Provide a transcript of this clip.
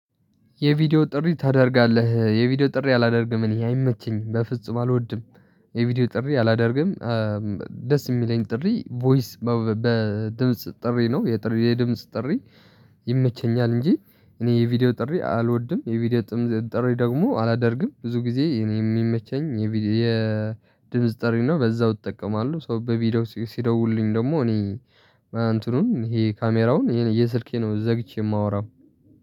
የቪዲዮ ጥሪ ታደርጋለህ እ የቪዲዮ ጥሪ አላደርግም እኔ አይመቸኝም በፍጹም አልወድም። የቪዲዮ ጥሪ አላደርግም እም ደስ ሚለኝ ጥሪ ቮይስ በድምጽ ጥሪ ነው የጥሪ የድምጽ ጥሪ። ይመቸኛል እንጂ እኔ የቪዲዮ ጥሪ አልወድም የቪዲዮ ጥሪ ደግሞ አላደርግም ብዙ ጊዜ እኔ የሚመቸኝ የ የድምጽ ጥሪ ነው በዛው እጠቀማለሁ። ሶ በቪዲዮ ሲደውሉልኝ ደግሞ እኔ እንትኑን ይሄ ካሜራውን ይሄን እየስልኬ ነው ዘግቼ የማወራው።